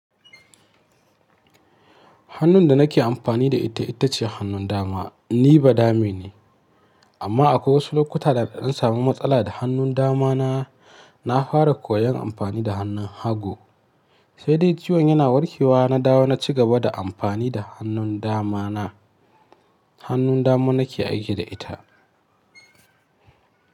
Hannun da nake amfani da ita ita ce hannun dama. Ni ba dame ne, amma akwai wasu lokuta da na samu matsala da hannun damana. Na fara koyon amfani da hannun hagu, sai dai ciwon yana warke wa na dawo na ci gaba da amfani da hannun damana. Hannun dama nake aiki da ita.